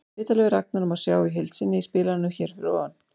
Viðtalið við Ragnar má sjá í heild sinni í spilaranum hér fyrir ofan.